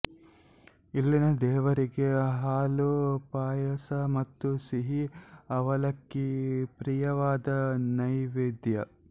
ಇಲ್ಲಿನ ದೇವರಿಗೆ ಹಾಲು ಪಾಯಸ ಮತ್ತು ಸಿಹಿ ಅವಲಕ್ಕಿ ಪ್ರಿಯವಾದ ನೈವೇದ್ಯ